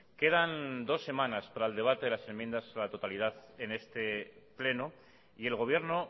quedan dos semanas para el debate de las enmiendas a la totalidad en este pleno y el gobierno